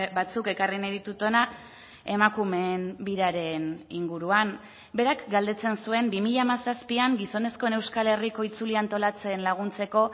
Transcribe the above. batzuk ekarri nahi ditut hona emakumeen biraren inguruan berak galdetzen zuen bi mila hamazazpian gizonezkoen euskal herriko itzulia antolatzen laguntzeko